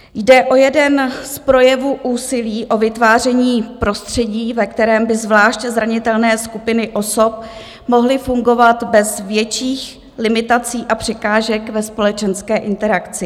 Jde o jeden z projevů úsilí o vytváření prostředí, ve kterém by zvlášť zranitelné skupiny osob mohly fungovat bez větších limitací a překážek ve společenské interakci.